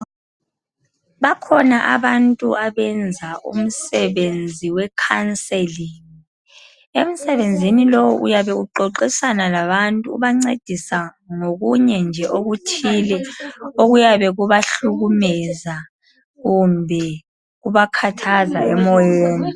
Bakhona abantu abenza umsebenzi we counselling . Emsebenzini lowu uyabe uxoxisana labantu ubancedisa ngokunye nje okuthile okuyabe kubahlukumeza kumbe kubakhathaza emoyeni.